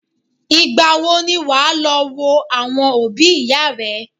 Ìgbà wo ni wà á lọ wo àwọn òbí ìyá rẹ̀?